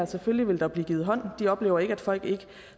selvfølgelig vil der blive givet hånd de oplever ikke at folk ikke